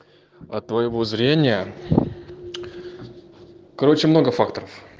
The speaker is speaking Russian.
от твоего зрения короче много факторов